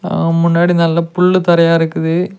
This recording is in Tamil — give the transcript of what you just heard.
அவன் முன்னாடி நல்ல புள்ளு தரையா இருக்குது.